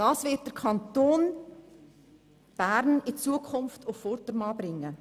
Dies wird den Kanton Bern in Zukunft auf Vordermann bringen.